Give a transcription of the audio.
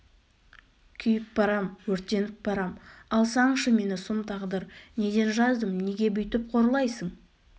күйіп барам өртеніп барам алсаңшы мені сұм тағдыр неден жаздым неге бүйтіп қорлайсың